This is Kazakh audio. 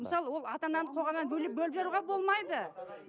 мысалы ол ата ананы қоғамнан бөліп бөліп жаруға болмайды